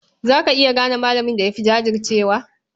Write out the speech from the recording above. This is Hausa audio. Za ka iya gane malamin da ya fi jajircewa?